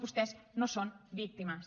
vostès no són víctimes